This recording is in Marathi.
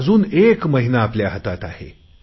अजुन एक महिना आपल्या हातात आहे